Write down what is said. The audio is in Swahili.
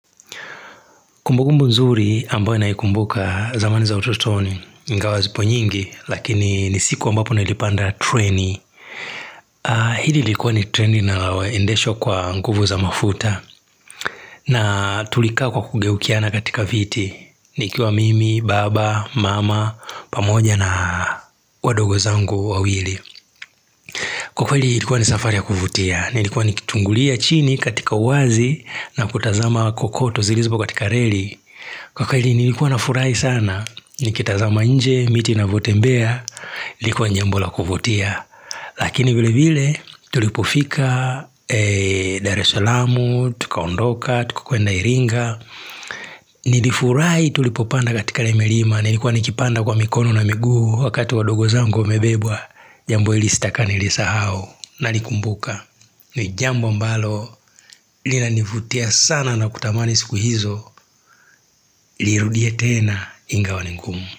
Kumbukumbu nzuri ambayo naikumbuka zamani za utotoni ingawa zipo nyingi, lakini ni siku ambapo nilipanda traini Hili likuwa ni traini linaendesho kwa nguvu za mafuta na tulika kwa kugeukiana katika viti nikiwa mimi, baba, mama, pamoja na wadogo zangu wawili Kwa kwa ilikuwa ni safari ya kuvutia Nilikuwa nikitungulia chini katika uwazi na kutazama kokoto zilizopo katika reli Kwa kweli nilikuwa na furahi sana, nikitazama nje, miti inavyotembea, ilikuwa jambo la kuvutia Lakini vile vile tulipofika Dar el salaam, tukaondoka, tukakwenda iringa Nilifurahi tulipopanda katika limelima, nilikuwa nikipanda kwa mikono na miguu wakati wadogo zangu wamebebwa Jambo hili sitaka nilisahao, nalikumbuka ni jambo ambalo, linanivutia sana na kutamani siku hizo nirudie tena ingawa ni ngumu.